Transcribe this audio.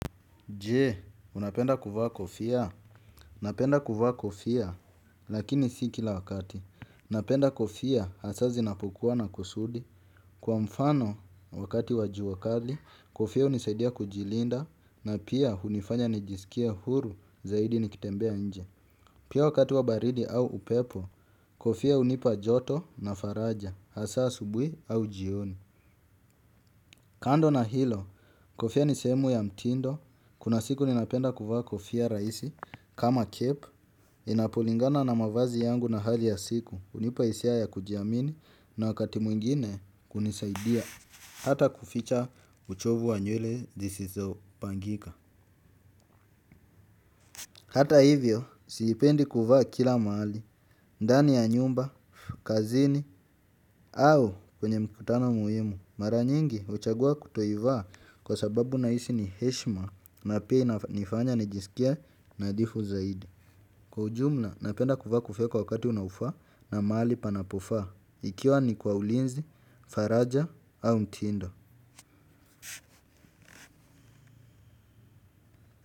Jee, unapenda kuvaa kofia? Napenda kuvaa kofia, lakini si kila wakati. Napenda kofia, hasa zinapokua na kusudi. Kwa mfano, wakati wa jua kali, kofia hunisaidia kujilinda, na pia hunifanya nijisikie huru zaidi nikitembea nje. Pia wakati wa baridi au upepo, kofia unipa joto na faraja, hasa asubuhi au jioni. Kando na hilo, kofia ni sehemu ya mtindo, kuna siku ninapenda kuvaa kofia rahisi, kama kepu, inapolingana na mavazi yangu na hali ya siku, hunipa hisia ya kujiamini na wakati mwingine kunisaidia, hata kuficha uchovu wa nywele, zisizipangika. Hata hivyo, siipendi kuvaa kila mahali, ndani ya nyumba, kazini, au kwenye mkutano muhimu. Mara nyingi huchagua kutoivaa kwa sababu na hisi ni heshima na pia inafanya nijisikie nadhifu zaidi. Kwa ujumla, napenda kuvaa kofia kwa wakati unaofaa na mahali panapofaa, ikiwa ni kwa ulinzi, faraja au mtindo.